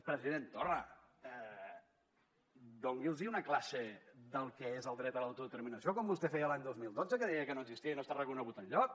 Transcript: president torra doni’ls una classe del que és el dret a l’autodeterminació com vostè feia l’any dos mil dotze que deia que no existia i no està reconegut enlloc